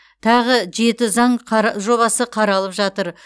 тағы жеті заң жобасы қаралып жатыр